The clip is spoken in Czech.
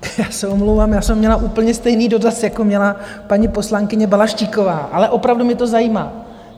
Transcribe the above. Já se omlouvám, já jsem měla úplně stejný dotaz, jako měla paní poslankyně Balaštíková, ale opravdu mě to zajímá.